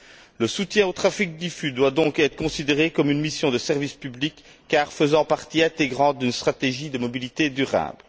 2 Le soutien au trafic diffus doit donc être considéré comme une mission de service public car faisant partie intégrante d'une stratégie de mobilité durable.